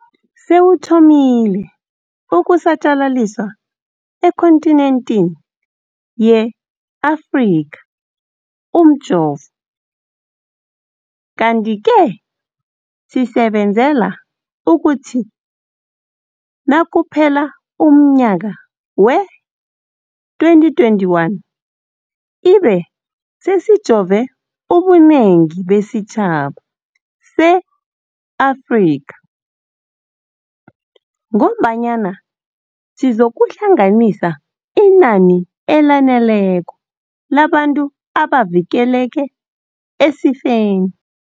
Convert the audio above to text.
Sewuthomile ukusatjalaliswa ekhonthinenthini ye-Afrika umjovo, kanti-ke sisebenzela ukuthi nakuphela umnyaka wee-2021 ibe sesijove ubunengi besitjhaba se-Afrika, kobanyana sizokuhlanganisa inani elaneleko labantu abavikeleke esifeni.